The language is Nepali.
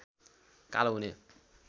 कालो हुने